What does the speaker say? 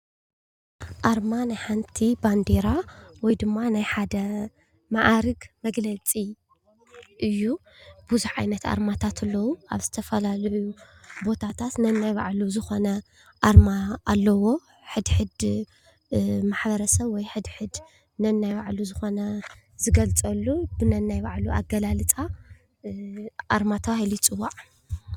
ኣርማ ናይ ሓንቲ ባንዴራ ወይ ድማ ናይ ሓደ መኣርግ መግለፂእዩ ።ብዙሓት ዓይነት ኣርማታት ኣለው ኣብ ዝተፈላለዩ ቦታታት ነናይ ባዕሉ ዝኾነ ኣርማ ኣለዎ። ሕድሕድ ማሕበረሰብ ወይ ሕድሕድ ነናይ ባዕሉ ዝኾነ ዝገልፀሉ ነናይ ባዕሉ ኣገላልፃ ኣርማ ተባሂሉ ይፅዋዕ።